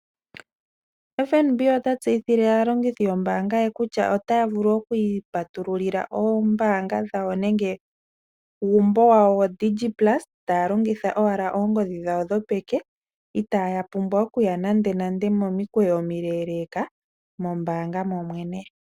FNB ota tseyithile aalongithi yombaanga ye, kutya otaavulu okwiipatulila oombanga dhawo, nenge uumbo wawo yoDigiplus taalongitha owala oongodhi dhawo dhopeke. itaya pumbwa okuya nande nande momikweyo omileleka mombaanga momwene.